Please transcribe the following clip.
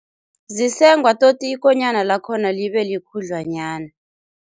Zisengwa toti ikonyana lakhona libe likhudlwanyana.